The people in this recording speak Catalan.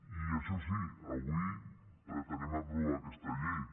i això sí avui pretenem aprovar aquesta llei